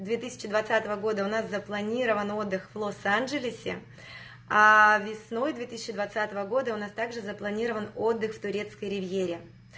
две тысяча двадцатого года у нас запланирован отдых в лос-анджелесе аа весной две тысяча двадцатого года у нас также запланирован отдых в турецкой ривьере